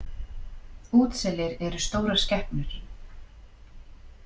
Útselir eru stórar skepnur.